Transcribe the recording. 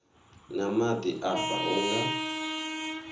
na maḓi afha hu nga